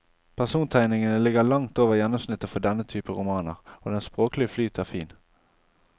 Persontegningene ligger langt over gjennomsnittet for denne type romaner, og den språklige flyt er fin.